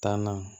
Taa na